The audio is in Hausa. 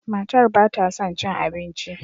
Matar ba ta son cin abinci.